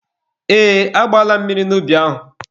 Ee, agbaala m mmiri n'ubi ahụ.